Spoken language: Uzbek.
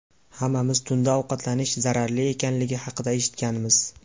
Hammamiz tunda ovqatlanish zararli ekanligi haqida eshitganmiz.